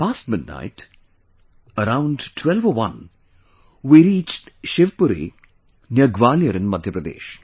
Past midnight, around 12 or 1, we reached Shivpuri, near Gwalior in Madhya Pradesh